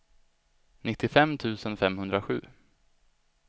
nittiofem tusen femhundrasju